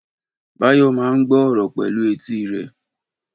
Báyọ̀ ma ń gbọ́ ọ̀rọ̀ pẹ̀lú etí rẹ̀